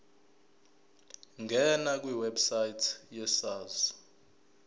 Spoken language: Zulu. ngena kwiwebsite yesars